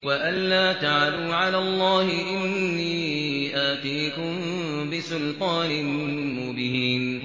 وَأَن لَّا تَعْلُوا عَلَى اللَّهِ ۖ إِنِّي آتِيكُم بِسُلْطَانٍ مُّبِينٍ